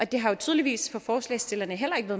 det har jo tydeligvis for forslagsstillerne heller ikke